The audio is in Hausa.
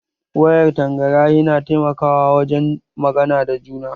Wayar tangarahi na taimakawa wajen magana da juna